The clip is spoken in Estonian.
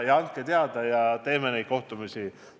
Andke teada, ja korraldame neid kohtumisi.